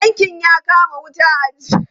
Tankin ya kama wuta a jiya.